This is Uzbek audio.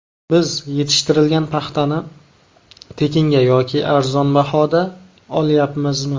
Biz yetishtirilgan paxtani tekinga yoki arzon bahoda olyapmizmi?